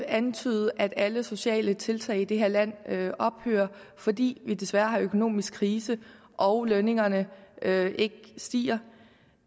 antydes at alle sociale tiltag i det her land ophører fordi vi desværre har økonomisk krise og lønningerne ikke stiger